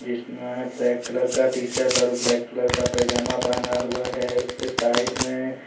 इसमें black colour का T shirt और ब्लैक कलर का पजामा पहना हुआ है उसके साइड में--